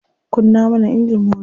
Kunna mana injin matar.